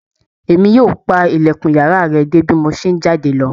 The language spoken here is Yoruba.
E mi yóò pa ilẹkun yàrá rẹ de bi mo ṣe n jáde lọ